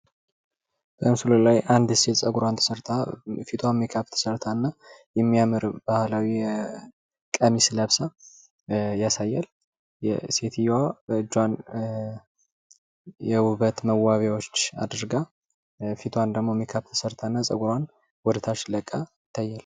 በምስሉ ላይ የምንመለከተው አንዲት ሴት ፀጉሯን ተሰርታ ፣ፊቷን ሜካፕ ተሰርታ፣ የባህል ልብስ ለብሳ፣ የውበት መዋቢያዎች አድርጋ ይታያል።